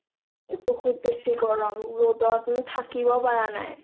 এ বহুত বেছি গৰম ৰদত থাকিব পাৰা নাই